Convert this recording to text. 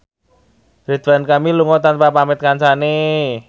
Ridwan Kamil lunga tanpa pamit kancane